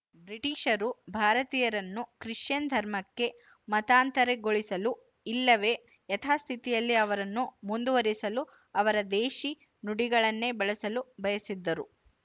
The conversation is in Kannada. ಬ್ರಿಟಿಶರು ಭಾರತೀಯರನ್ನು ಕ್ರಿಶ್ಚಿಯನ್ ಧರ್ಮಕ್ಕೆ ಮತಾಂತರಗೊಳಿಸಲು ಇಲ್ಲವೇ ಯಥಾಸ್ಥಿತಿಯಲ್ಲಿ ಅವರನ್ನು ಮುಂದುವರಿಸಲು ಅವರ ದೇಶಿ ನುಡಿಗಳನ್ನೇ ಬಳಸಲು ಬಯಸಿದ್ದರು